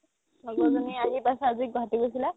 লগৰ জনী আহি পাইছে আজি গুৱাহাতি গৈছিলে